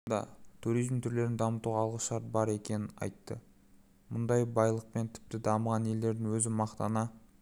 да туризм түрлерін дамытуға алғышарт бар екенін айтты мұндай байлықпен тіпті дамыған елдердің өзі мақтана